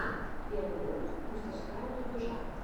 первый выпуск мастерская дубляжа